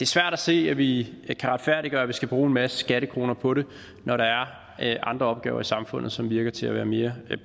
svært at se at vi kan retfærdiggøre at vi skal bruge en masse skattekroner på det når der er andre opgaver i samfundet som virker til at være mere